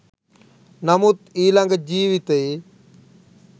නමුත් ඊළඟ ජීවිතයේ